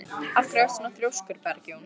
Af hverju ertu svona þrjóskur, Bergjón?